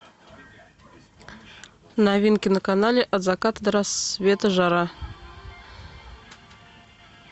новинки на канале от заката до рассвета жара